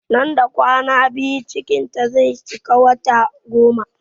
Nan da kwana biyu cikin ta zai cika wata goma